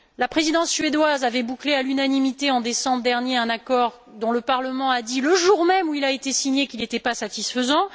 La présidence suédoise avait bouclé, à l'unanimité en décembre dernier, un accord dont le Parlement a dit, le jour même où il a été signé, qu'il n'était pas satisfaisant.